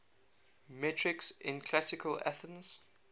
metics in classical athens